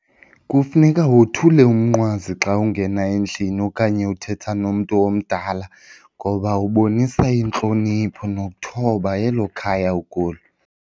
Kufuneka wothule umnqwazi xa ungena endlini okanye uthetha nomntu omdala ngoba ubonisa intlonipho nokuthoba elo khaya ukulo.